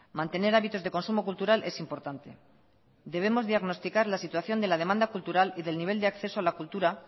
mantener hábitos de consumo cultural es importante debemos diagnosticar la situación de la demanda cultural y del nivel de acceso a la cultura